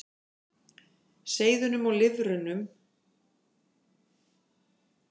Seiðunum og lirfunum stafar hins vegar meiri hætta af stærri fiskum og ýmsum tegundum sjófugla.